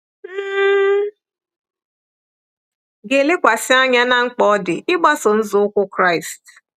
M ga-elekwasị anya ná mkpa ọ dị ịgbaso nzọụkwụ Kraịst.